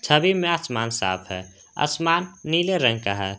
नदी में आसमान साफ है आसमान नीले रंग का है।